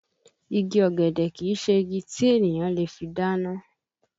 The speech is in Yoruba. Igi ọ̀gẹ̀dẹ̀ kìí se igi tí ènìyàn le fi dáná